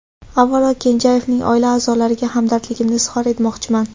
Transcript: Avvalo, Kenjayevning oila a’zolariga hamdardligimni izhor etmoqchiman.